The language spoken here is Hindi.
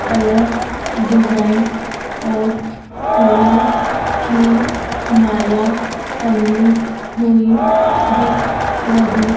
अलग डिजाइन और फूलों की माला टंगी हुई दिख रही--